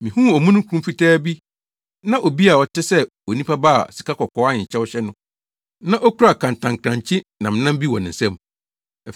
Mihuu omununkum fitaa bi na obi a ɔte sɛ Onipa Ba a sikakɔkɔɔ ahenkyɛw hyɛ no na okura kantankrankyi nnamnam bi wɔ ne nsam.